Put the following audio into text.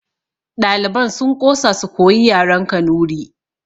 Ɗaliban sun ƙosa su koyi yaren kanuri